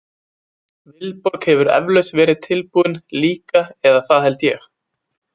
Vilborg hefur eflaust verið tilbúin líka eða það held ég.